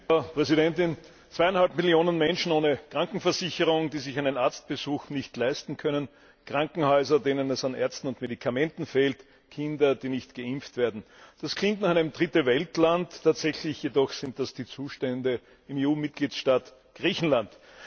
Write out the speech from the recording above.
Frau Präsidentin! Zweieinhalb Millionen Menschen ohne Krankenversicherung, die sich einen Arztbesuch nicht leisten können, Krankenhäuser, denen es an Ärzten und Medikamenten fehlt, Kinder, die nicht geimpft werden das klingt nach einem Dritte Welt Land, tatsächlich jedoch sind das die Zustände im EU Mitgliedstaat Griechenland!